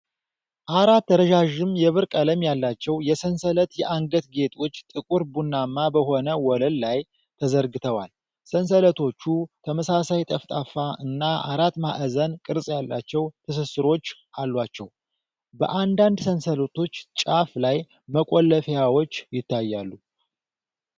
አራት ረዣዥም የብር ቀለም ያላቸው የሰንሰለት የአንገት ጌጦች ጥቁር ቡናማ በሆነ ወለል ላይ ተዘርግተዋል። ሰንሰለቶቹ ተመሳሳይ፣ ጠፍጣፋ እና አራት ማዕዘን ቅርጽ ያላቸው ትስስሮች አሏቸው። በአንዳንድ ሰንሰለቶች ጫፍ ላይ መቆለፊያዎች ይታያሉ።